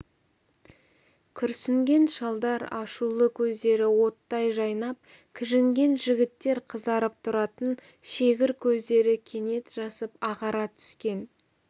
күрсінген шалдар ашулы көздері оттай жайнап кіжінген жігіттер қызарып тұратын шегір көздері кенет жасып ағара түскен